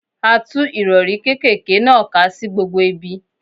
A tú Ìrọ̀rí kékèké náà ká sí gbogbo ibi.